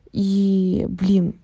иии блин